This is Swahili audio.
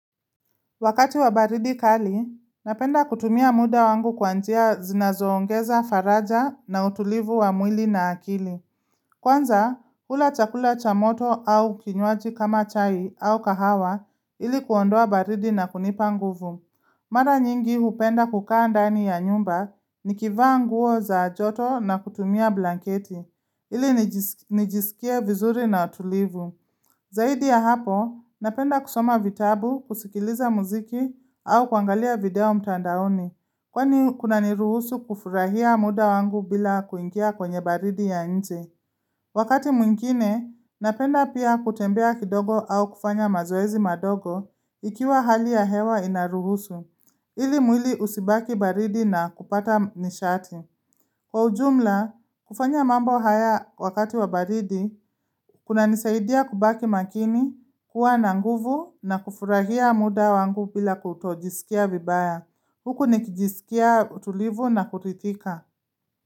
Wakati wa baridi kali, napenda kutumia muda wangu kwa njia zinazoongeza faraja na utulivu wa mwili na akili. Kwanza, hula chakula cha moto au kinywaji kama chai au kahawa ili kuondoa baridi na kunipa nguvu. Mara nyingi hupenda kukaa ndani ya nyumba nikivaa nguo za joto na kutumia blanketi ili nijisikie vizuri na tulivu. Zaidi ya hapo, napenda kusoma vitabu, kusikiliza muziki au kuangalia video mtandaoni, kwani kunaniruhusu kufurahia muda wangu bila kuingia kwenye baridi ya nje. Wakati mwingine, napenda pia kutembea kidogo au kufanya mazoezi madogo ikiwa hali ya hewa inaruhusu, ili mwili usibaki baridi na kupata nishati. Kwa ujumla, kufanya mambo haya wakati wa baridi, kuna nisaidia kubaki makini, kuwa na nguvu na kufurahia muda wangu bila kutojisikia vibaya. Huku nikijisikia utulivu na kutitika.